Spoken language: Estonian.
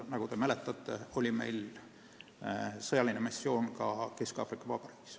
Nagu mäletate, meil oli sõjaline missioon ka Kesk-Aafrika Vabariigis.